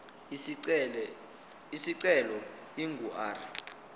isicelo ingu r